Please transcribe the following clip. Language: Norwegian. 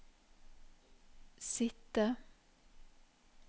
sitte